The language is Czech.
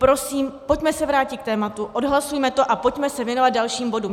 Prosím, pojďme se vrátit k tématu, odhlasujme to a pojďme se věnovat dalším bodům.